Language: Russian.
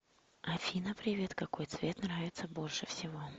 афина привет какой цвет нравится больше всего